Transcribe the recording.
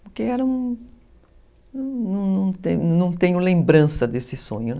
Porque era um... não não tenho lembrança desse sonho, né?